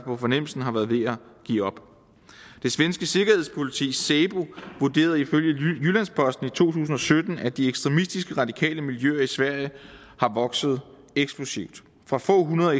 på fornemmelsen har været ved at give op det svenske sikkerhedspoliti säpo vurderede ifølge jyllands posten tusind og sytten at de ekstremistiske radikale miljøer i sverige er vokset eksplosivt fra få hundrede